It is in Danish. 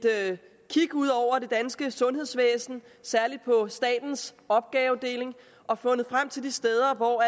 kig ud over det danske sundhedsvæsen særlig på statens opgavedeling og fundet frem til de steder hvor